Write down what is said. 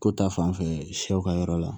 Ko ta fan fɛ sɛw ka yɔrɔ la